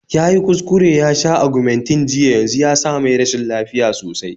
Yayi kuskure yasha Argumentinn jiya yanzu yasa mai rashin lafiya sosai